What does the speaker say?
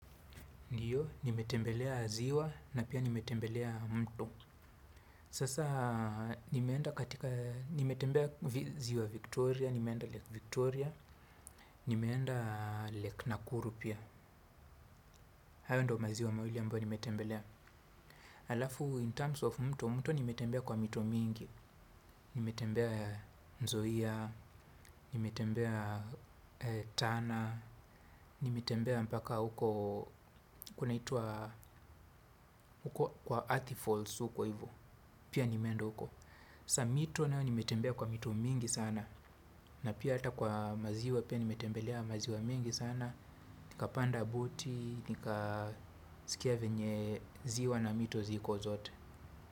Ndiyo, nimetembelea ziwa na pia nimetembelea mto. Sasa, nimeenda katika nimetembea ziwa Victoria, nimeenda Lake Victoria, nimeenda Lake Nakuru pia. Hayo ndio maziwa mawili ambayo nimetembelea. Alafu, in terms of mto, mto nimetembea kwa mito mingi. Nimetembea nzoia, nimetembea tana, nimetembea mpaka huko, kunaitwa, huko, kwa athi falls uko hivo. Pia nimeenda uko Sa mito nayo nimetembea kwa mito mingi sana. Na pia ata kwa maziwa pia nimetembelea maziwa mengi sana. Nikapanda boti. Nika sikia venye ziwa na mito ziko zote.